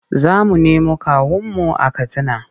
Za mu nemo kawunmu a Katsina.